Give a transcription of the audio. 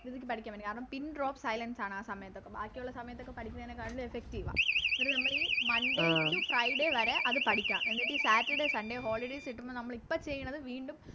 രീതിക്ക് പഠിക്കാൻ പറ്റും കാരണം Pindrop ആണ് ആ സമയത്തപ്പം ബാക്കിയൊള്ള സമയത്ത് അപ്പോം ബാക്കിയൊള്ള സമയത്തൊക്കെ പഠിക്കുന്നേനെ കാളിലും Effective എന്നിട്ട് നമ്മളീ Monday to friday വരെ അത് പഠിക്ക എന്നിട്ട് ഈ Saturday sunday കിട്ടുമ്പോ നമ്മളിപ്പോ ചെയ്യന്നത് വീണ്ടും